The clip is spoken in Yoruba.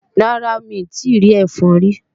Rárá, mi ò tíì rí ẹfọn rí